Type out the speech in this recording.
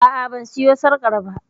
A'a ban siyo sarƙar ba